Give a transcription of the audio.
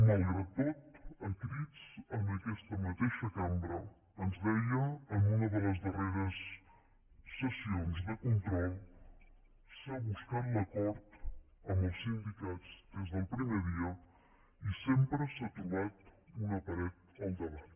malgrat tot a crits en aquesta mateixa cambra ens deia en una de les darreres sessions de control s’ha buscat l’acord amb els sindicats des del primer dia i sempre s’ha trobat una paret al davant